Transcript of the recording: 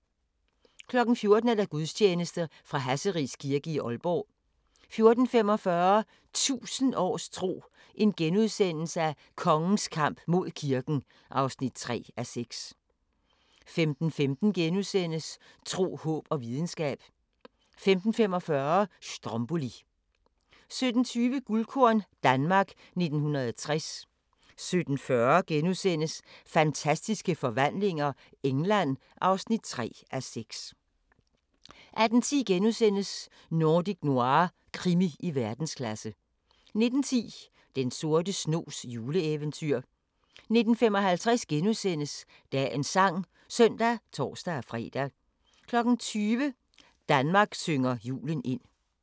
14:00: Gudstjeneste fra Hasseris Kirke, Aalborg 14:45: 1000 års tro: Kongens kamp mod kirken (3:6)* 15:15: Tro, håb og videnskab * 15:45: Stromboli 17:20: Guldkorn - Danmark 1960 17:40: Fantastiske forvandlinger - England (3:6)* 18:10: Nordic Noir – krimi i verdensklasse * 19:10: Den sorte snogs juleeventyr 19:55: Dagens sang *(søn og tor-fre) 20:00: Danmark synger julen ind